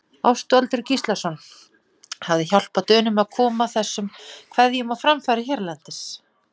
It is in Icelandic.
Ástvaldur Gíslason hafi hjálpað Dönum að koma þessum kveðjum á framfæri hérlendis.